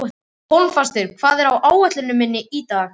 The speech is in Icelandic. Hólmfastur, hvað er á áætluninni minni í dag?